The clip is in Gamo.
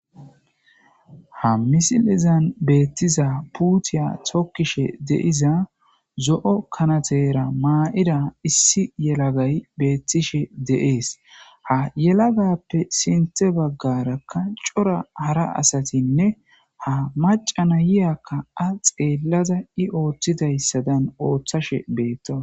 ha misilizan beettiza puutiya tokkishe deiza zo7o kanatera maa7ida issi yelagay beettishe deees ha yelagappe sinte baggarakka cora hara asatinne ha macana yiyakka a xeellaza i ooththidayssadan ooththashe beettoa